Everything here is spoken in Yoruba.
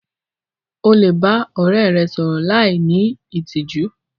O le ba ọrẹ rẹ sọrọ láì ní ìtìjú.